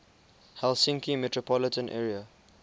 helsinki metropolitan area